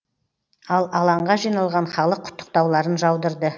ал алаңға жиналған халық құттықтауларын жаудырды